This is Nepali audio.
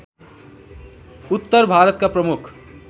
उत्‍तर भारतका प्रमुख